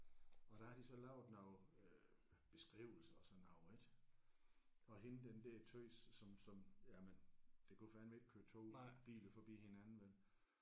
Og der har de så lavet noget øh beskrivelse og sådan over ik og hende den der tøs som som jamen der kunne fandeme ikke køre toge og biler forbi hinanden vel